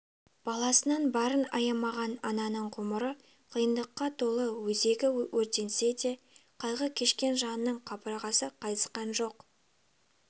баласынан барын аямаған ананың ғұмыры қиындыққа толы өзегі өртенсе де қайғы кешкен жанның қабырғасы қайысқан жоқ